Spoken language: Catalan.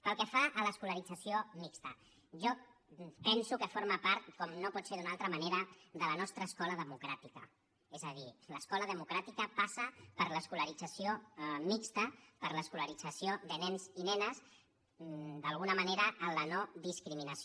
pel que fa a l’escolarització mixta jo penso que forma part com no pot ser d’una altra manera de la nostra escola democràtica és a dir l’escola democràtica passa per l’escolarització mixta per l’escolarització de nens i nenes d’alguna manera en la nodiscriminació